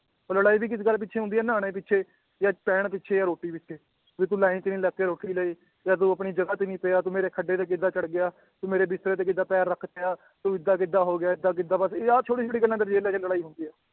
ਉਹ ਲੜਾਈ ਵੀ ਕਿਸ ਗੱਲ ਪਿੱਛੇ ਹੁੰਦੀ ਹੈ ਨਹਾਉਣੇ ਪਿੱਛੇ ਜਾਂ ਪੈਣ ਪਿੱਛੇ ਜਾਂ ਰੋਟੀ ਪਿੱਛੇ ਵੀ ਤੂੰ line ਚ ਨੀ ਲੱਗ ਕੇ ਰੋਟੀ ਲਈ ਜਾਂ ਤੂੰ ਆਪਣੀ ਜਗ੍ਹਾ ਤੇ ਨੀ ਪਿਆ, ਤੂੰ ਮੇਰੇ ਖੱਡੇ ਤੇ ਕਿੱਦਾਂ ਚੜ੍ਹ ਗਿਆ, ਤੂੰ ਮੇਰੇ ਬਿਸਤਰੇ ਤੇ ਕਿੱਦਾਂ ਪੈਰ ਰੱਖ ਤਿਆ ਤੂੰ ਏਦਾਂ ਕਿੱਦਾਂ ਹੋ ਗਿਆ, ਏਦਾਂ ਕਿੱਦਾਂ ਬਸ ਆਹ ਛੋਟੀ ਛੋਟੀ ਗੱਲਾਂ ਲੜਾਈ ਹੁੰਦੀ ਹੈ